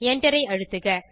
enter ஐ அழுத்துக